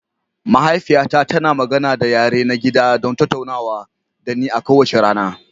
Mahaifiyata tana magana da yare na gida don tattaunawa da ni kowace rana.